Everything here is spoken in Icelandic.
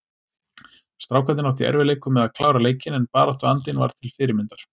Strákarnir áttu í erfiðleikum með að klára leikinn en baráttuandinn var til fyrirmyndar.